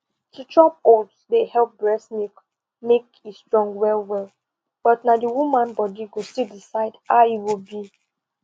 to chop oats dey help breast milk make e strong well well but na the woman body go still decide how e go be